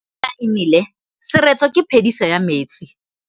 Fa pula e nelê serêtsê ke phêdisô ya metsi.